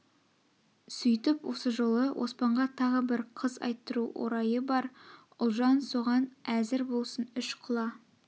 сүйтіп осы жолы оспанға тағы бір қыз айттыру орайы бар ұлжан соған әзір болсын үш құла